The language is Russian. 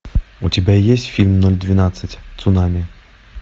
у тебя есть фильм ноль двенадцать цунами